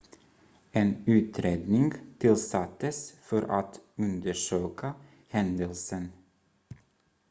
en utredning tillsattes för att undersöka händelsen